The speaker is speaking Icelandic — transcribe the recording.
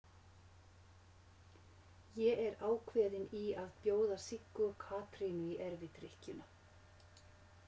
Ég er ákveðinn í að bjóða Siggu og Katrínu í erfidrykkjuna.